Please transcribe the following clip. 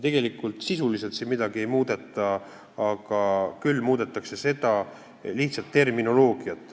Tegelikult siin sisuliselt midagi ei muudeta, muudetakse lihtsalt terminoloogiat.